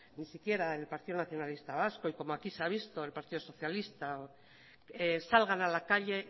ni siquiera el partido nacionalista vasco y como aquí se ha visto al partido socialista salgan a la calle